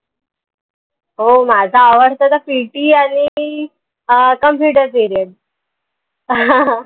हो माझा आवडता त PT आनि आह computer